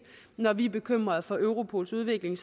når vi er bekymrede for europols udvikling